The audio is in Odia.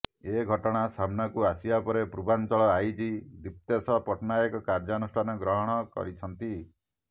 ଏ ଘଟଣା ସାମ୍ନାକୁ ଆସିବା ପରେ ପୂର୍ବାଞ୍ଚଳ ଆଇଜି ଦିପ୍ତେଶ ପଟ୍ଟନାୟକ କାର୍ଯ୍ୟାନୁଷ୍ଠାନ ଗ୍ରହଣ କରିଛନ୍ତି